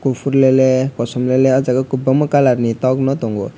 kopor le le kosom le le o jaga o kobangma kalar ni tok no tongo.